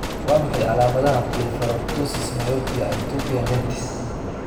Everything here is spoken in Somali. Waa maxay calaamadaha iyo calaamadaha Blepharoptosis myopia ectopia lentis?